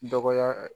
Dɔgɔya